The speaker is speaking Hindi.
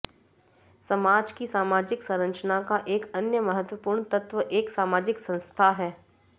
समाज की सामाजिक संरचना का एक अन्य महत्वपूर्ण तत्व एक सामाजिक संस्था है